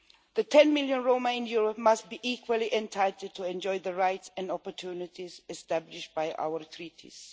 The 10 million Roma in Europe must be equally entitled to enjoy the rights and opportunities established by our Treaties.